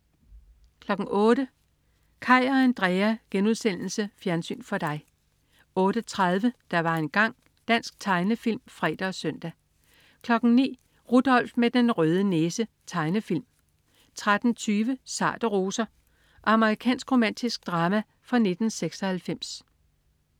08.00 Kaj og Andrea.* Fjernsyn for dig 08.30 Der var engang. Dansk tegnefilm (fre og søn) 09.00 Rudolph med den røde næse. Tegnefilm 13.20 Sarte roser. Amerikansk romantisk drama fra 1996